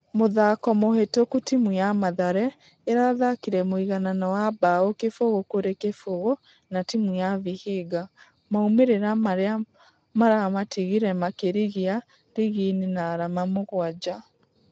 Mũthako mũhĩtũku timũ ya mathare ĩrathakire mũiganano wa bao kĩfũgũ kũrĩ kĩfũgũ na timũ ya vihiga. Maumerera marĩa maramatigire makĩrigia rigi-inĩ na arama mũgwaja.